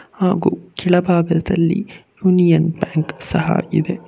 ಹಾಗು ಕೆಳಭಾಗದಲ್ಲಿ Union Bank ಸಹ ಇದೆ.